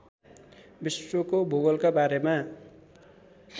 विश्वको भूगोलका बारेमा